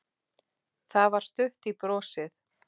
Það var stutt í brosið.